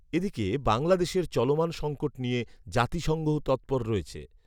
এ দিকে বাংলাদেশের চলমান সঙ্কট নিয়ে জাতিসঙ্ঘও তৎপর রয়েছে